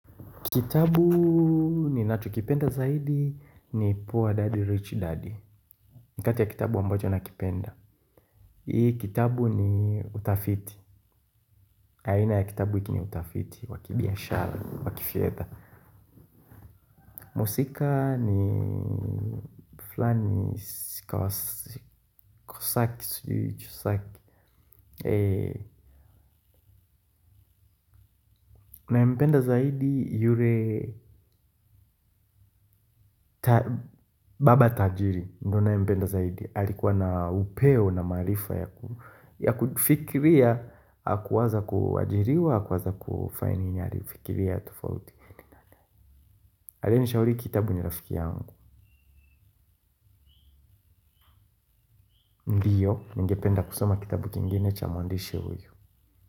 Kitabu ni nachokipenda zaidi ni Poor Daddy Rich Daddy nikati ya kitabu ambacho nakipenda hii kitabu ni utafiti. Aina ya kitabu hiki ni utafiti wakibiashara, wakifedha. Mhuusika ni fulani kosaki, chosaki. Nampenda zaidi yule Baba tajiri ndo ni nayempenda zaidi alikuwa na upeo na maarifa ya kufikiria. Haku waza kuajiriwa haku waza kufanya nini ali fikiria tofauti. Aliye ni shauri hiki kitabu ni rafiki yangu. Ningependa kusoma kitabu kingine cha mwandishi huyu.